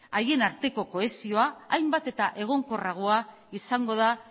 haien arteko kohesioa hainbat eta egonkorragoa izango da